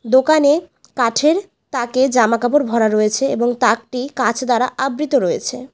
দোকানে কাঠের তাকে জামাকাপড় ভরা রয়েছে এবং তাকটি কাঁচ দ্বারা আবৃত রয়েছে।